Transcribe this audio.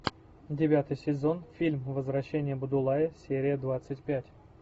девятый сезон фильм возвращение будулая серия двадцать пять